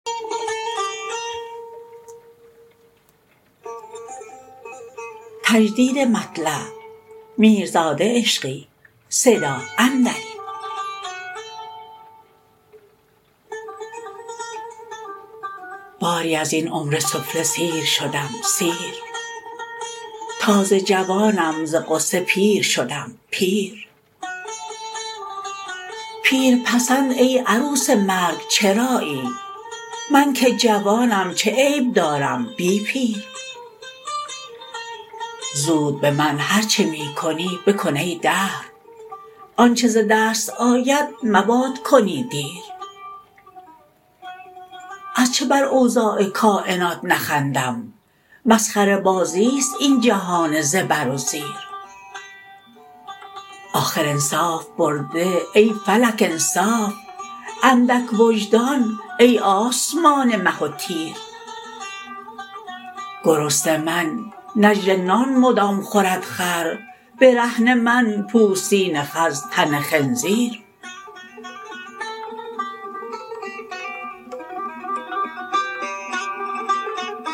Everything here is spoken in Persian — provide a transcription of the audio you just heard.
باری ازین عمر سفله سیر شدم سیر تازه جوانم ز غصه پیر شدم پیر پیر پسند ای عروس مرگ چرایی من که جوانم چه عیب دارم بی پیر زود به من هر چه می کنی بکن ای دهر آنچه ز دست آید مباد کنی دیر از چه بر اوضاع کاینات نخندم مسخره بازی ست این جهان زبر و زیر آخر انصاف برده ای فلک انصاف اندک وجدان ای آسمان مه و تیر گرسنه من نجل نان مدام خورد خر برهنه من پوستین خز تن خنزیر